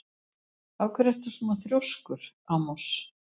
Af hverju ertu svona þrjóskur, Amos?